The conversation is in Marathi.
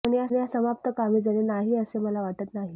पण या समाप्त कोमेजणे नाही असे मला वाटत नाही